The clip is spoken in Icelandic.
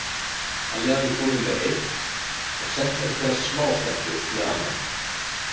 Halli hafði komið með eitt og sent einhverja smástelpu með annað.